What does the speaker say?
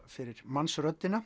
fyrir